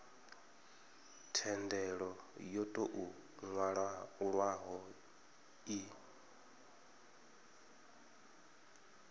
thendelo yo tou nwalwaho i